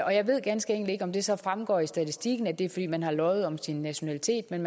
og jeg ved ganske enkelt ikke om det så fremgår af statistikken at det er fordi man har løjet om sin nationalitet men